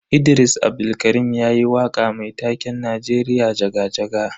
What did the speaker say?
Idris Abdulkarim yayi waka mai taken Najeriya jaga-jaga.